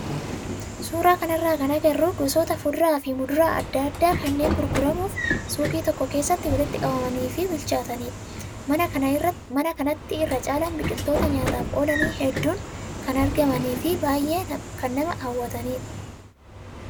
Suuraa kanarraa kan agarru gosoota fuduraa fi muduraa adda addaa kanneen gurguramuuf suuqii tokko keessatti walitti qabamanii fi bilchaatanidha. Mana kanatti irra caalaan biqiloota nyaataaf oolanii hedduun kan argamanii fi baay'ee nama hawwatanidha.